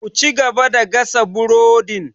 Ku cigaba da gasa burodin!